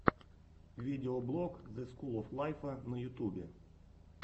видеоблог зе скул оф лайфа на ютубе